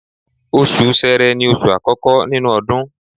Oṣù Sẹrẹ ni oṣù àkọ́kọ́ nínú ọdún